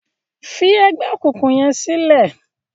fí ègbé òkùnkùn yén silẹ!